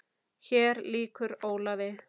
Hér lýkur Ólafi.